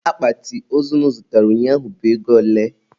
Akpati ozu unu zụtara ụnyaahụ bụ ego ole?